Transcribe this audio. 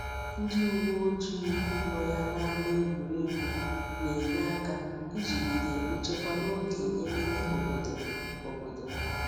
Ndi uwe ojii no ya n'ama egwuruegwu na-enye aka ijigide nchekwa n'oge ememe obodo. obodo.